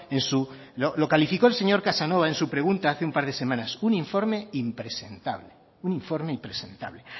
en su lo calificó el señor casanova en su pregunta hace un par de semanas un informe impresentable un informe impresentable